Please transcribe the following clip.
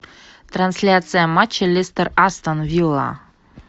трансляция матча лестер астон вилла